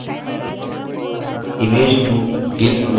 image 2 gimp में खुलती है